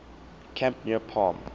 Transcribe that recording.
camp near palm